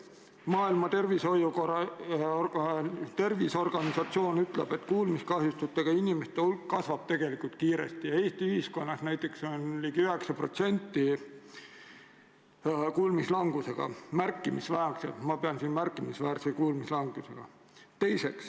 Maailma Terviseorganisatsioon kinnitab, et kuulmiskahjustustega inimeste hulk kasvab kiiresti ja Eesti ühiskonnas on ligi 9% inimestest märkimisväärse kuulmislangusega.